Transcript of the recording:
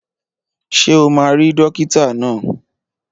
Ṣé o máa rí dókítà náà?